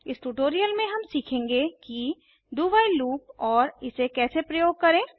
इस ट्यूटोरियल में हम सीखेंगे कि do व्हाइल लूप और इसे कैसे प्रयोग करें